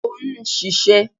O ń ṣiṣẹ́.